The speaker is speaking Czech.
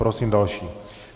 Prosím další.